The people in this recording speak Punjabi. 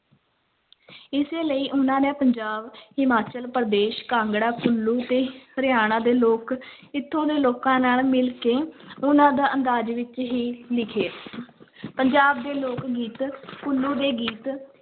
ਇਸੇ ਲਈ ਉਹਨਾਂ ਨੇ ਪੰਜਾਬ, ਹਿਮਾਚਲ ਪ੍ਰਦੇਸ਼, ਕਾਂਗੜਾ ਕੁੱਲੂ ਤੇ ਹਰਿਆਣਾ ਦੇ ਲੋਕ ਇੱਥੋਂ ਦੇ ਲੋਕਾਂ ਨਾਲ ਮਿਲ ਕੇ ਉਹਨਾਂ ਦਾ ਅੰਦਾਜ਼ ਵਿੱਚ ਹੀ ਲਿਖੇ ਪੰਜਾਬ ਦੇ ਲੋਕ-ਗੀਤ ਕੁੱਲੂ ਦੇ ਗੀਤ,